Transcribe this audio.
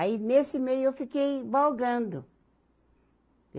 Aí, nesse meio, eu fiquei vagando.